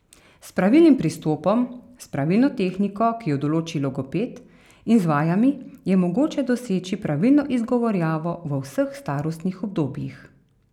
S pravilnim pristopom, s pravilno tehniko, ki jo določi logoped, in z vajami je mogoče doseči pravilno izgovarjavo v vseh starostnih obdobjih.